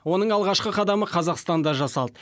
оның алғашқы қадамы қазақстанда жасалды